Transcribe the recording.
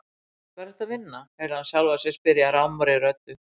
Hvar ertu að vinna? heyrði hann sjálfan sig spyrja rámri röddu.